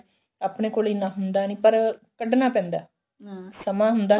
ਆਪਣੇ ਕੋਲ ਇੰਨਾ ਹੁੰਦਾ ਨੀ ਪਰ ਕੱਢਣਾ ਪੈਂਦਾ ਹਮ ਸਮਾਂ ਹੁੰਦਾ